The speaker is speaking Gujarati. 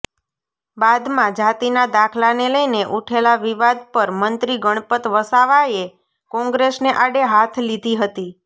બાદમાં જાતિના દાખલાને લઈને ઉઠેલા વિવાદ પર મંત્રી ગણપત વસાવાએ કોંગ્રેસને આડે હાથ લીધી હતી